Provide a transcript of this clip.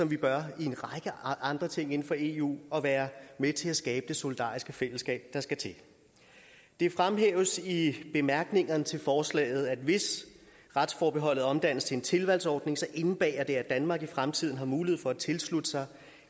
vi bør i en række andre ting inden for eu og være med til at skabe det solidariske fællesskab der skal til det fremhæves i bemærkningerne til forslaget at hvis retsforbeholdet omdannes til en tilvalgsordning indebærer det at danmark i fremtiden har mulighed for at tilslutte sig